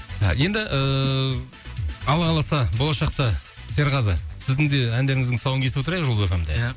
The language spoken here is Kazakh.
енді ііі алла қаласа болашақта серғазы сіздің де әндеріңіздің тұсауын кесіп отырайық жұлдыз эф эм де ия